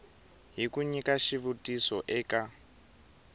hi ku nyika xitiviso eka